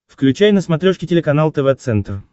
включай на смотрешке телеканал тв центр